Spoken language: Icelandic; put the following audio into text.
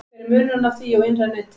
Hver er munurinn á því og innra neti?